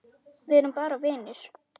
Við erum bara vinir.